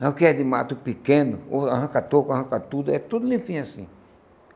Não quer de mato pequeno, o arranca toco, arranca tudo, é tudo limpinho assim.